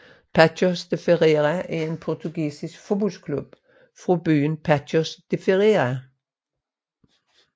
Paços de Ferreira er en portugisisk fodboldklub fra byen Paços de Ferreira